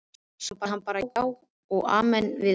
Sagði bara já og amen við öllu.